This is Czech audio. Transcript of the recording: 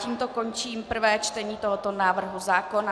Tímto končím prvé čtení tohoto návrhu zákona.